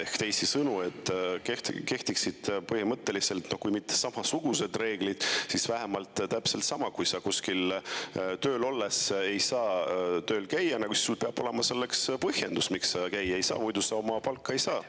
Ehk teisisõnu, et kehtiksid põhimõtteliselt samasugused reeglid, et kui sa kuskil tööl olles ei saa tööl käia, siis sul peab olema selleks põhjendus, miks sa ei saa käia, muidu sa oma palka ei saa.